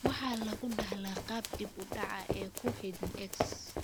Waxa lagu dhaxlaa qaab dib u dhac ah oo ku xidhan X.